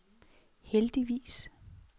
heldigvis